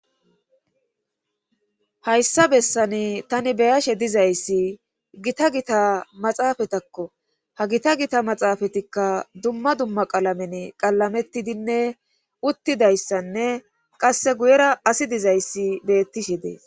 hayssa bessani tani beyashe dizayssi gita gita maxaafatakko ha gita gita maxaafatikka dumma dumma qalamen qalametidinne uttidayssanne qasse guyera asi dizayssi beettishe dees